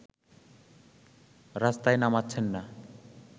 রাস্তায় নামাচ্ছেন না